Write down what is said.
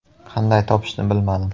Qanday topishni bilmadim.